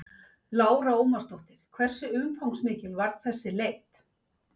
Lára Ómarsdóttir: Hversu umfangsmikil var þessi leit?